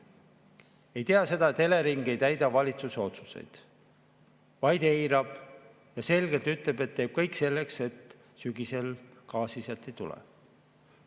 Ei tea seda, et Elering ei täida valitsuse otsuseid, vaid eirab neid ja ütleb selgelt, et teeb kõik selleks, et sügisel sealt gaasi ei tuleks.